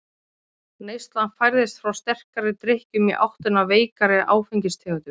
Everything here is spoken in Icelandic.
Neyslan færðist frá sterkari drykkjum í áttina að veikari áfengistegundum.